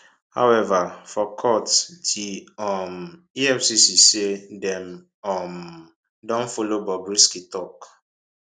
however for court di um efcc say dem um don follow bobrisky tok